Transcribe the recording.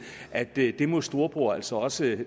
at det må storebror altså også